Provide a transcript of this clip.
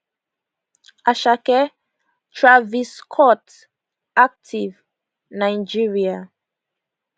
asake travis scott active nigeria